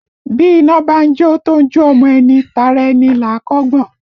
Bí iná bá ń jó ẹni tó ń jó ọmọ ẹni, tara ẹni là á kọ́ gbọ̀n